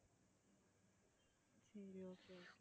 சரி okay okay